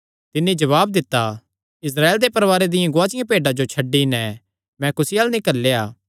तिन्नी जवाब दित्ता इस्राएल दे परवारें दिया गुआचिआं भेड्डां जो छड्डी नैं मैं कुसी अल्ल नीं घल्लेया